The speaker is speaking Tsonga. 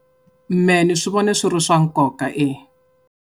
Mehe ni swi vona swi ri swa nkoka eya.